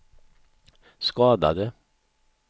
skadade